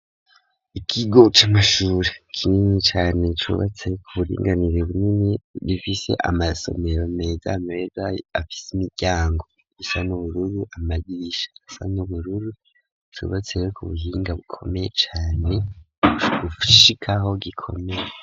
Ikigo c'amashure kinini cane, cubatse ku buringanire bunini, gifise amasomero meza meza, afise imiryango isa n'ubururu, amadirisha asa n'ubururu, cubatse rero, ku buhinga bukomeye cane, gushika aho gikomeye.